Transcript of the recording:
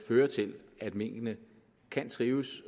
fører til at minkene kan trives